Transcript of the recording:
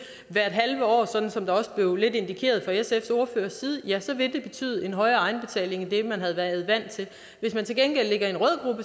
hvert halve år sådan som det også blevet indikeret lidt af sfs ordfører ja så vil det betyde en højere egenbetaling end det man har været vant til hvis man til gengæld ligger i